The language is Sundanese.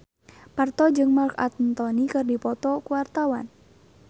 Parto jeung Marc Anthony keur dipoto ku wartawan